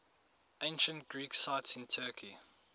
ancient greek sites in turkey